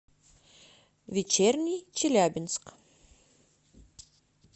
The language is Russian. вечерний челябинск